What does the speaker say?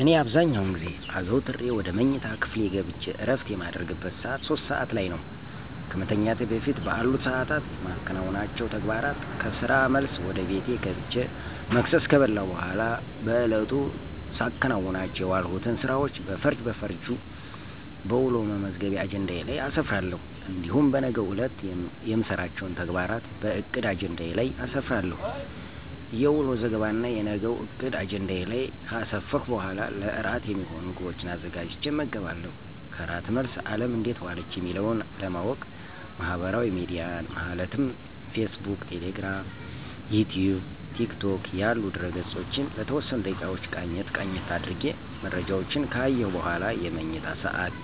እኔ አብዛኛውን ጊዜ አዘውተሬ ወደ መኝታ ክፍሌ ገብቸ እረፍት የማደርግበት ሰዓት 3:00 (ሦስት ሰዓት) ላይ ነው። ከመተኛቴ በፊት በአሉት ሰዓታት የማከናውናቸው ተግባራት ከስራ መልስ ወደ ቤቴ ገብቸ መክሰስ ከበላሁ በኋላ በዕለቱ ሳከናውናቸው የዋልሁትን ስራዎች በፈርጅ በፈርጃ በውሎ መመዝገቢያ አጀንዳዬ ላይ አሰፍራለሁ። እንዲሁም በነገው ዕለት የምሰራቸውን ተግባራት በዕቅድ አጀንዳዬ ላይ አሰፍራለሁ። የውሎ ዘገባና የነገውን ዕቅድ አጀንዳዬ ላይ ከአሰፈርሁ በኋላ ለእራት የሚሆኑ ምግቦችን አዘጋጅቸ እመገባለሁ። ከእራት መልስ አለም እንዴት ዋለች የሚለውን ለማዎቅ ማህበራዊ ሚዲያን ማለትም ፌስ ቡክ፣ ቴሌግራም፣ ዩትዩብ፣ ቲክቶክ ያሉ ድህረ-ገፆችን ለተወሰኑ ደቂቃዎች ቃኘት ቃኘት አድርጌ መረጃዎችን ከአየሁ በኋላ የመኝታ ሰዓት